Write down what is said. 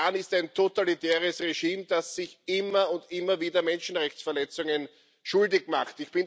Der Iran ist ein totalitäres Regime, das sich immer und immer wieder Menschenrechtsverletzungen schuldig macht.